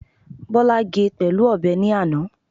Bọ́lá ge pẹ̀lú ọ̀bẹ ní àná